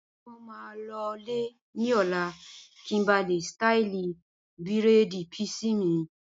mo maa lọ lè ní ọ̀la kí n ba lè ṣtáìlì bírèèdì písì mi